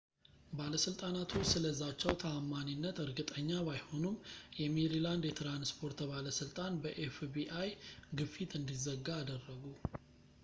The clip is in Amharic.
ባለሥልጣናቱ ስለ ዛቻው ተዓማኒነት እርግጠኛ ባይሆኑም ፣ የሜሪላንድ የትራንስፖርት ባለሥልጣን በኤፍ.ቢ.አይ. fbi ግፊት እንዲዘጋ አደረጉ